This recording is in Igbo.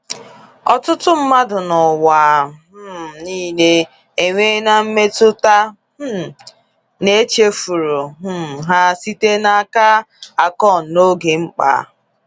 Ọtụtụ mmadụ n’ụwa um niile enweela mmetụta um na e chefuru um ha site n’aka Akon n’oge mkpa.